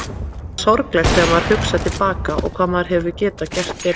Það er sorglegt þegar maður hugsar til baka og hvað maður hefði getað gert betur.